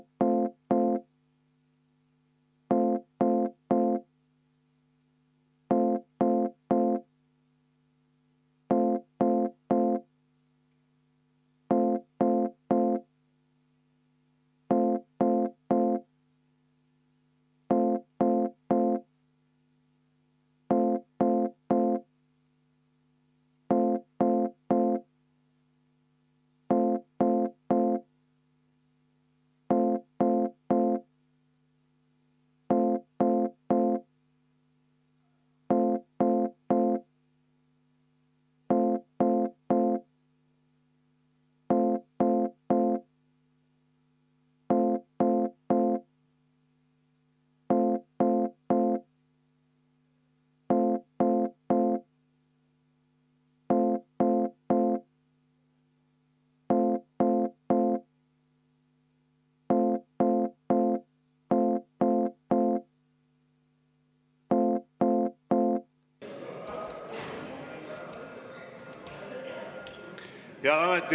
Helle-Moonika Helme, palun!